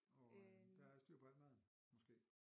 Og øh der er styr på alt maden måske?